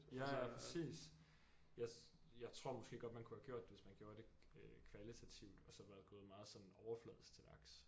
Ja ja præcis jeg jeg tror måske godt man kunne have gjort det hvis man gjorde det øh kvalitativt og så være gået meget sådan overfladisk til værks